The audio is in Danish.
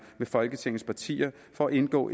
med folketingets partier for at indgå